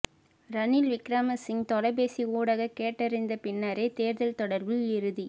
ரணில் விக்கிரமசிங்க தொலைபேசி ஊடாக கேட்டறிந்த பின்னரே தேர்தல் தொடர்பில் இறுதி